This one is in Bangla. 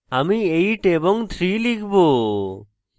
আমি 8 এবং 3 লিখব